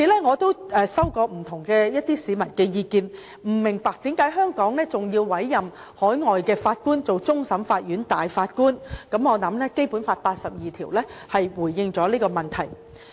我收到不同市民的意見，表示不明白為何香港還要委任海外法官擔任終審法院大法官，我認為《基本法》第八十二條已經回應了這個問題。